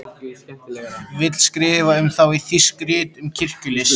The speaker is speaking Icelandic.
Vill skrifa um þá í þýsk rit um kirkjulist.